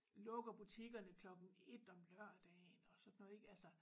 Lukker butikkerne klokken 1 om lørdagen og sådan noget ik altså